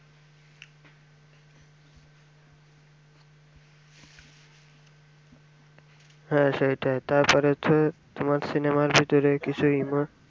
হ্যাঁ সেইটাই তারপর হচ্ছে তোমার সিনেমার ভিতরে কিছু